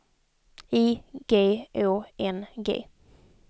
I G Å N G